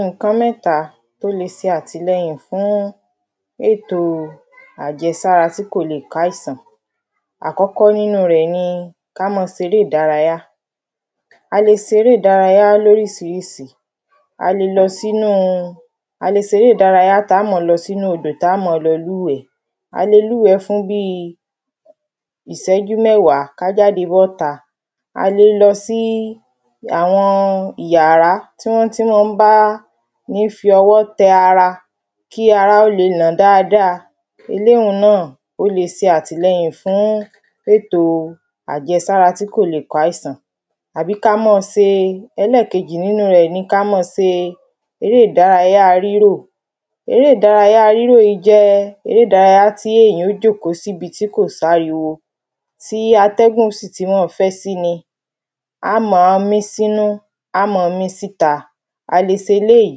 iǹkan mẹ́ta ló le se àtìlẹyìn fún ètò àjẹ̀sára tí kò le è káísán àkọ́kọ́ nínú rẹ̀ ni ká ma seré ìdárayá a le seré ìdárayá lórísirísi a le lọ sí nú a le seré ìdárayá tá ma lọ sí nú odò tá ma lọ lú wẹ́ a le lú wẹ́ fún bíi ìsẹ́jú mẹ́wá ká jáde bọ́ ta a le lọ sí àwọn yàrá tí wọ́n tí mọ́ ń bá ní fi ọwọ́ tẹ ara kí ara ó le nà dáadáa elé ún náà ó le se àtílẹyín fún ètò àjẹ̀sára tí kò le è káísán àbí ká mọ́ se ẹlẹ́kejì nínú rẹ̀ ni ká mọ́ se eré ìdárayá rírò eré ìdárayá rírò jẹ́ eré ìdárayá tí èyàn ó jòkó síbi tí kò sáríwo tí atẹ́gùn ó sì ti mọ fẹ́ sí ni á mọ́ mí sínú á mọ mí síta a le se eléyí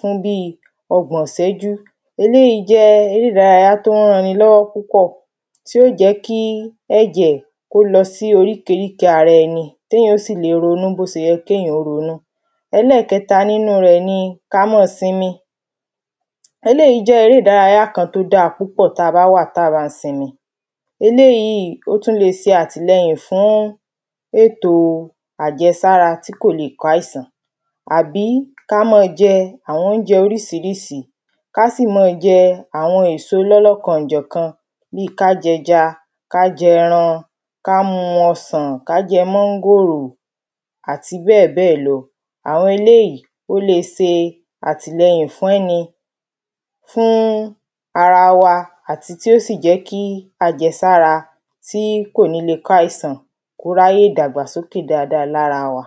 fún bí ọgbọ̀n ìsẹ́jú eléyí eré ìdárayá tó ń ran ni lọ́wọ́ púpọ̀ tí ó jẹ́ kí ẹ̀jẹ̀ kó lọ sí oríkeríke ara ẹni kéyàn sì le ronú bó se yẹ kéyàn ó ronú ẹlẹ́kẹta nínú rẹ ni ká mọ́ simi eléyí jẹ́ eré ìdárayá kan tó dá púpọ̀ ta bá wà ta bá simi eléyí ó tú le se àtìlẹyìn fún étò àjẹ̀sára tí kò le è káísán àbí ká mọ́ jẹ àwọn óunjẹ orisirisi ká sì mọ́ jẹ àwọn èso lọ́lọ́kan òjọ̀kan bí ká jẹja ká jẹran ká mu ọsàn ká jẹ mọ́ngòrò àti bẹ́ẹ̀ bẹ́ẹ̀ lọ àwọn eléyí ó le se àtìlẹyìn fún ẹni fún ara wa àti tí ó sì jẹ́ kí àjẹ̀sára tí kò le è káísán kó ráyè dàgbà sókè dáada lára wa